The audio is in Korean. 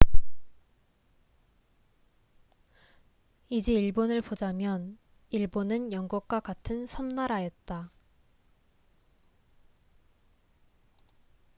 이제 일본을 보자면 일본은 영국과 같은 섬나라였다